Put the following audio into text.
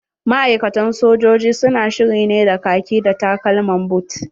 Ma'aikatan sojoji su na shiri ne da kaki da takalman boot.